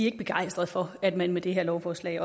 ikke begejstrede for at man med det her lovforslag